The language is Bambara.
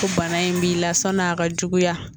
Ko bana in b'i la sani a ka juguya